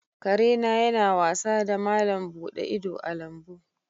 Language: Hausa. Kare na yana wasa da malam buɗe ido a lambu.